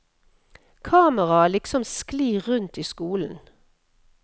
Kameraet liksom sklir rundt i skolen.